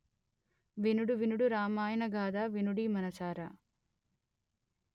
వినుడు వినుడు రామాయణ గాథా వినుడీ మనసారా